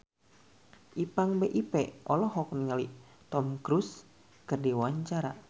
Ipank BIP olohok ningali Tom Cruise keur diwawancara